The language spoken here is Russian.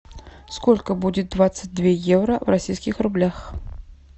сколько будет двадцать две евро в российских рублях